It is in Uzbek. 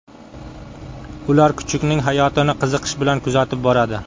Ular kuchukning hayotini qiziqish bilan kuzatib boradi.